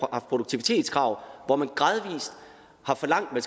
produktivitetskrav og hvor man gradvis har forlangt at